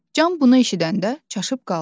Can bunu eşidəndə çaşıb qaldı.